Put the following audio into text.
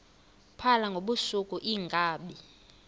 phala ngobusuku iinkabi